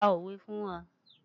Pa òwe fún wa!